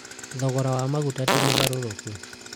thogora ma maguta ti mũgarũrũku